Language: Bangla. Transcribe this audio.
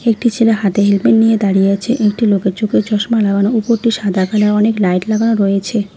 একটি ছেলে হাতে হেলমেট নিয়ে দাঁড়িয়ে আছে একটি লোকের চোখে চশমা লাগানো উপরটি সাদা কালার অনেক লাইট লাগানো রয়েছে।